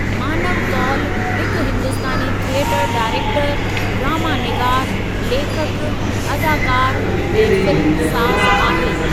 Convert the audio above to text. मानव कौल हिकु हिंदुस्तानी थियटर डाइरेक्टरु, ड्रामा निगार, लेखकु, अदाकार ऐं फिल्म साज़ आहे।